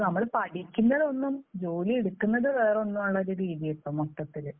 നമ്മൾ പഠിക്കുന്നതൊന്നും ജോലി എടുക്കുന്നത് വേറൊന്നും ആണെന്നുള്ള ഒരു രീതിയാണ് ഇപ്പോൾ മൊത്തത്തിൽ.